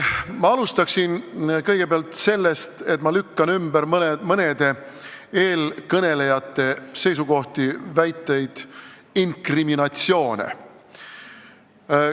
Ma alustan sellest, et lükkan ümber mõne eelkõneleja seisukohti, väiteid, inkriminatsioone.